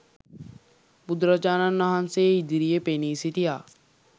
බුදුරජාණන් වහන්සේ ඉදිරියේ පෙනී සිටියා.